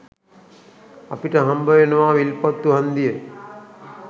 අපිට හම්බවෙනවා විල්පත්තු හන්දිය